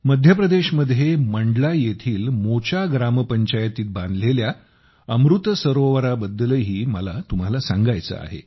मध्य प्रदेशमध्ये मंडला येथील मोचा ग्रामपंचायतीत बांधलेल्या अमृत सरोवराबद्दलही मला तुम्हाला सांगायचे आहे